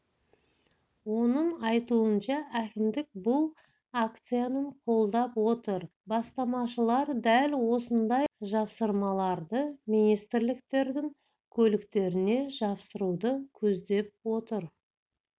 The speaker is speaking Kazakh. оның айтуынша әкімдік бұл акцияның қолдап отыр бастамашылар дәл осындай жапсырмаларды министрліктердің көліктеріне жапсыруды көздеп отыр